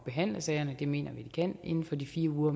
behandle sagerne og det mener vi at de kan inden for de fire uger